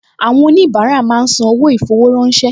Àwọn oníbàárà máa ń san owó ì-fowó-ránṣẹ́